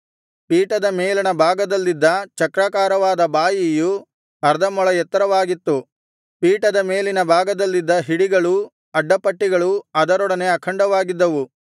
ಪೀಠದ ಮೇಲಣ ಭಾಗದಲ್ಲಿದ್ದ ಚಕ್ರಾಕಾರವಾದ ಬಾಯಿಯು ಅರ್ಧ ಮೊಳ ಎತ್ತರವಾಗಿತ್ತು ಪೀಠದ ಮೇಲಿನ ಭಾಗದಲ್ಲಿದ್ದ ಹಿಡಿಗಳೂ ಅಡ್ಡ ಪಟ್ಟಿಗಳೂ ಅದರೊಡನೆ ಅಖಂಡವಾಗಿದ್ದವು